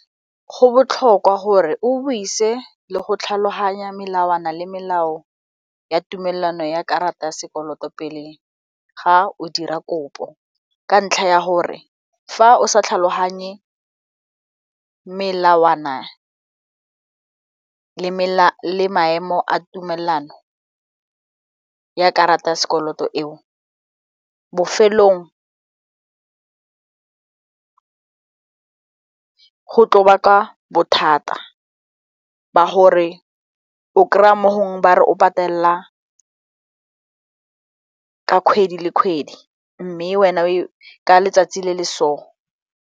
Go botlhokwa gore o buise le go tlhaloganya melawana le melao ya tumelano ya karata ya sekoloto pele ga o dira kopo ka ntlha ya gore fa o sa tlhaloganye melawana le maemo a tumelano ya karata ya sekoloto eo, bofelong go tlo baka bothata ba gore o kry-a mo gongwe ba re o patelela ka kgwedi le kgwedi mme wena ka letsatsi le le so.